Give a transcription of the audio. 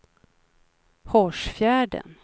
Hårsfjärden